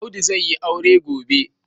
Audu zai yi aure gobe.